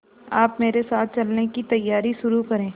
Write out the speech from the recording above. आप मेरे साथ चलने की तैयारी शुरू करें